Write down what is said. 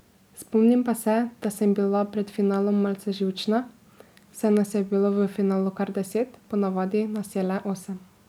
Spomnim pa se, da sem bila pred finalom malce živčna, saj nas je bilo v finalu kar deset, po navadi nas je le osem.